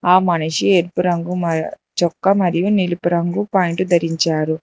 ఆ మనిషి ఎరుపు రంగు మ చొక్క మరియు నిలిపు రంగు పాయింటు ధరించారు.